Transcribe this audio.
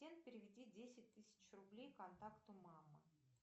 переведи десять тысяч рублей контакту мама